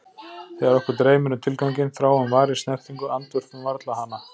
þegar okkur dreymir um tilganginn, þráum varir, snertingu, andvörpum varla hana!